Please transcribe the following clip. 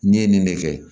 N'i ye nin de kɛ